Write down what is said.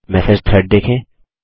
message thread देखें